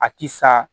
A ti sa